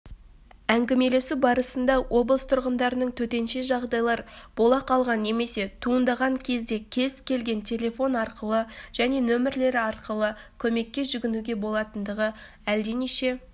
әңгімелесу барысында облыс тұрғындарының төтенше жағдайлар бола қалған немесе туындаған кезінде кез-келген телефон арқылы және нөмерлері арқылы көмекке жүгінуге болатындығы әлденеше